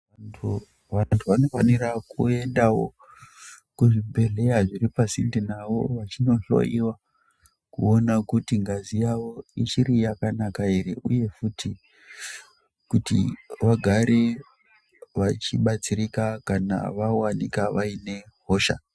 Vantu vanofanira kuendavo kuzibhedhlera zviripasinde navo vachinohloiwa kuona kuti ngazi yavo ichiri yakanaka ere, uye futi vagare vachibatsirika kana vavanika vaine hosha.